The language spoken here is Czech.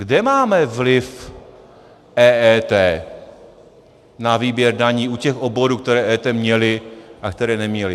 Kde máme vliv EET na výběr daní u těch oborů, které EET měly a které neměly?